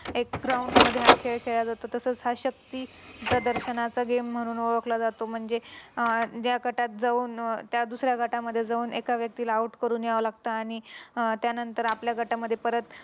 एक Ground मध्ये हा खेळ खेळला जातो तसच हा शक्ती प्रदर्शनाचा Game म्हणून ओळखला जातो म्हणजे ज्या गटात जाऊन त्या दुसऱ्या गटामध्ये जाऊन एका व्यक्तीला Out करून यावं लागत आणि अह आणि त्यांनंतर आपल्या गटामध्ये परत